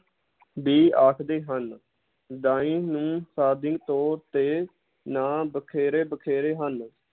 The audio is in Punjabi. ਵੀ ਆਖਦੇ ਹਨ ਦਾਈ ਨੂੰ ਤੌਰ ਤੇ ਨਾਂ ਵਖੇਰੇ ਵਖੇਰੇ ਹਨ।